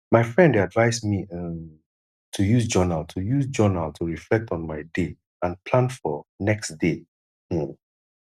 my friend dey advise me um to use journal to use journal to reflect on my day and plan for next day um